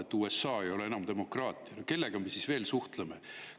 No kui USA-s ei ole enam demokraatia, kellega me siis veel suhtleme?